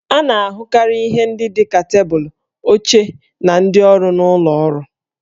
A na-ahụkarị ihe ndị dị ka tebụlụ, oche, na ndị ọrụ n'ụlọ ọrụ